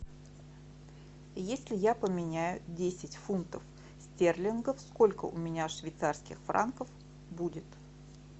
если я поменяю десять фунтов стерлингов сколько у меня швейцарских франков будет